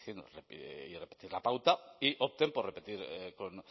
y repetir la pauta y opten por repetir